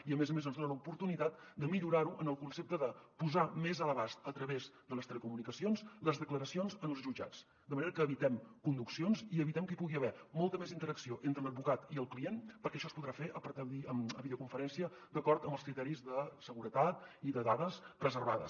i a més a més ens dona l’oportunitat de millorar ho en el concepte de posar més a l’abast a través de les telecomunicacions les declaracions en els jutjats de manera que evitem conduccions i evitem que hi pugui haver molta més interacció entre l’advocat i el client perquè això es podrà fer per videoconferència d’acord amb els criteris de seguretat i de dades preservades